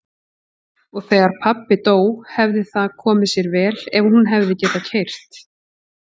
Og þegar pabbi dó hefði það komið sér vel ef hún hefði getað keyrt.